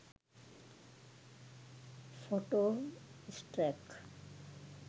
photo stock